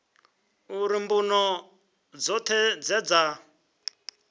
uri mbuno dzoṱhe dze dza